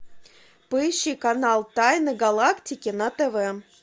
поищи канал тайны галактики на тв